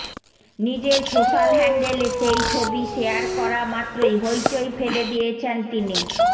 নিজের সোশ্যাল হ্যান্ডেলে সেই ছবি শেয়ার করা মাত্রই হৈ চৈ ফেলে দিয়েছেন তিনি